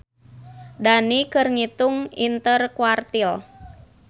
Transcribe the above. Dani keur ngitung interquartile